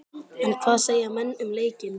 En hvað segja menn um leikinn?